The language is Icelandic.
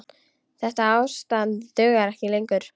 Þetta ástand dugar ekki lengur.